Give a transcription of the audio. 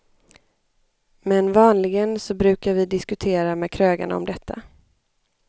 Men vanligen så brukar vi diskutera med krögarna om detta.